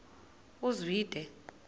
uzwide